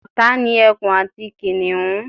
ọ̀tá ni ẹkun àti kìnìhún